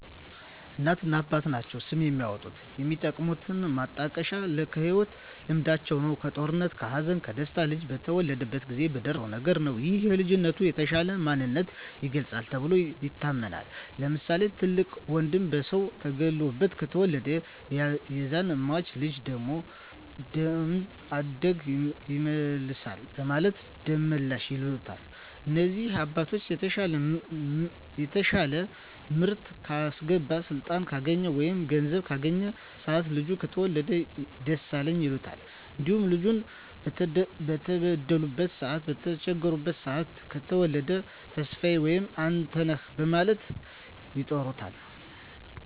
እናትና አባት ናቸዉ ስም የሚያወጡት። የሚጠቀሙት ማጣቀሻም ከህይወት ልምዳቸዉ ነዉ(ከጦርነት ከሀዘን ከደስታ ልጁ በተወለደበት ጊዜ በደረሰዉ ነገር) ነዉ ይህም የልጁን የተሻለ ማንነት ይገልፃል ተብሎም ይታመናል። ለምሳሌ፦ ትልቅ ወንድሙ በሰዉ ተገሎበት ከተወለደ ያዛን ሟች ልጅ ደም አድጎ ይመልሳል በማለት ደመላሽ ይሉታል። እንዲሁም አባትየዉ የተሻለ ምርት ካስገባ ስልጣን ካገኘ ወይም ገንዘብ ካገኘበት ሰአት ልጁ ከተወለደ ደሳለኝ ይሉታል። እንዲሁም ልጁ በተበደሉበት ሰአት በተቸገሩበት ሰአት ከተወለደ ተስፋየ ወይም አንተነህ በማለት ይጠሩታል።